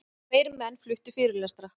Tveir menn fluttu fyrirlestra.